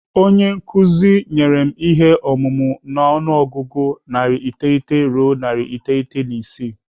Onye nkụzi nyere m ihe omume n'ọnụọgụgụ narị iteghete ruo narị iteghete na isii.